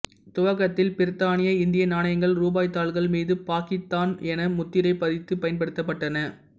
துவக்கத்தில் பிரித்தானிய இந்திய நாணயங்கள் ரூபாய்த்தாள்கள் மீது பாக்கித்தான் என முத்திரை பதித்து பயன்படுத்தப்பட்டன